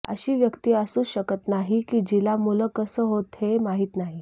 अशी व्यक्ती असूच शकत नाही की जिला मूल कसं होतं हे माहिती नाही